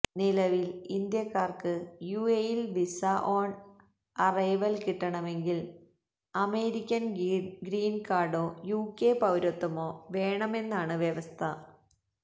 നിലവില് ഇന്ത്യാക്കാര്ക്ക് യുഎഇയില് വിസാ ഓണ് അറൈവല് കിട്ടണമെങ്കില് അമേരിക്കന് ഗ്രീന് കാര്ഡോ യുകെ പൌരത്വമോ വേണമെന്നാണ് വ്യവസ്ഥ